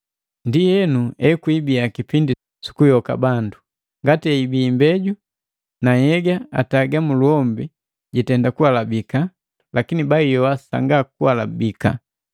Ndienu ekwibiya kipindi sukuyoka bandu. Ngati eibii imbeju, na nhyega ataga muluhombi gutenda kualabika, lakini bajiyoa sanga kuhalabika.